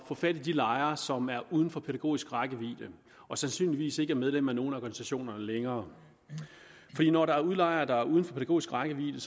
få fat i de lejere som er uden for pædagogisk rækkevidde og sandsynligvis ikke er medlem af nogen af organisationerne længere når der er udlejere der er uden for pædagogisk rækkevidde